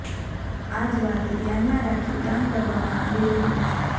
આ જ વાત ધ્યાનમાં રાખી કામ કરવામાં આવી રહ્યું છે